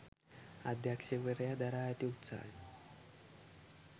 අධ්‍යක්ෂකවරයා දරා ඇති උත්සාහය